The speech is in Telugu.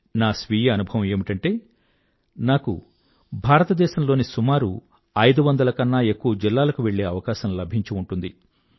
నా స్వీయ అనుభవం ఏమిటంటే నాకు భారతదేశంలోని సుమారు ఐదువందల కన్న ఎక్కువ జిల్లాలకు వెళ్ళే అవకాశం లభించి ఉంటుంది